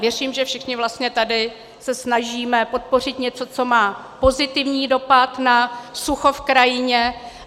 Věřím, že všichni vlastně tady se snažíme podpořit něco, co má pozitivní dopad na sucho v krajině.